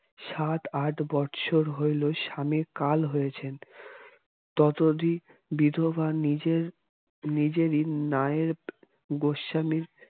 সাত-আট বৎসর হইল স্বামীর কাল হয়েছেন ততদিন বিধবা নিজেই নিজেরই নায়েব গোস্বামী